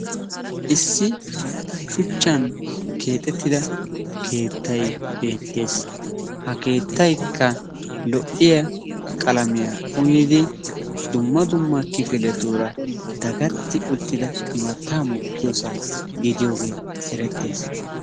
Issi shuchchan keexettida keettay beettes. Ha keettaykka lo'iya qalamiya uyidi dumma dumma kifiletuura dagatti uttida imattaa mokkiyosaa gidiyogee erettes.